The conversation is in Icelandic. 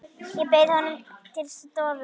Ég bauð honum til stofu.